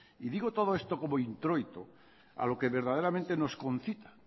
y digo todo esto como introito a lo que verdaderamente nos concita